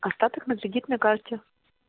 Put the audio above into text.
остаток на кредитной карте